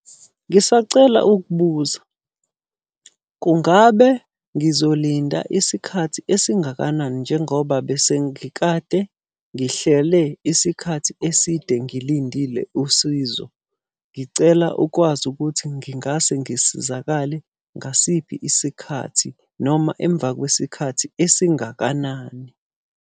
Ngisacela ukubuza, kungabe ngizolinda isikhathi esingakanani njengoba bese ngikade ngihlele isikhathi eside ngilindile usizo? Ngicela ukwazi ukuthi ngingase ngisizakale ngasiphi isikhathi noma emva kwesikhathi esingakanani?